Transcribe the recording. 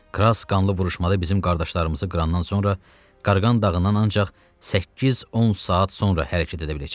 Kras qanlı vuruşmada bizim qardaşlarımızı qırandan sonra Qarğan dağından ancaq 8-10 saat sonra hərəkət edə biləcəkdi.